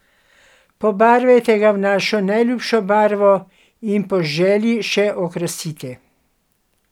Pobarvajte ga v vašo najljubšo barvo in po želji še okrasite.